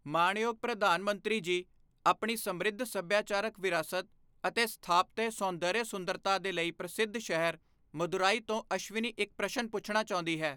ਮਾਣਯੋਗ ਪ੍ਰਧਾਨ ਮੰਤਰੀ ਜੀ ਆਪਣੀ ਸਮ੍ਰਿੱਧ ਸੱਭਿਆਚਾਰਕ ਵਿਰਾਸਤ ਅਤੇ ਸਥਾਪਤਯ ਸੌਂਦਰਯ ਸੁੰਦਰਤਾ ਦੇ ਲਈ ਪ੍ਰਸਿੱਧ ਸ਼ਹਿਰ ਮਦੁਰਈ ਤੋਂ ਅਸ਼ਵਿਨੀ ਇੱਕ ਪ੍ਰਸ਼ਨ ਪੁੱਛਣਾ ਚਾਹੁੰਦੀ ਹੈ।